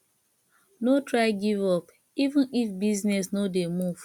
no try give up even if business no dey move